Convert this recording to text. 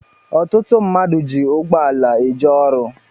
Ọtụtụ mmadụ ji ụgbọala eje ọrụ